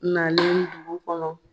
Na dugu kɔnɔ